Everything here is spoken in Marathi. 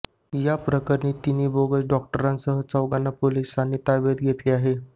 या प्रकरणी तिघा बोगस डॉक्टरांसह चौघाना पोलिसांनी ताब्यात घेतले आहे